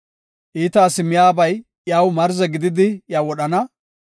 Iita asi miyabay iyaw marze gididi, iya wodhana.